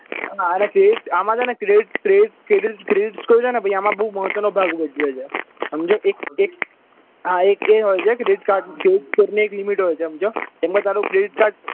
અને આ credit અને આમાં છે ને credit credit credit score છે ને પછી આમ બોવ મહત્વનો ભાગ ભજવે છે સમજ્યો એક એક આ એક હોય છે credit card credit score ની એક limit હોય છે સમજ્યો એમાં તારું credit card